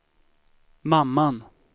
mamman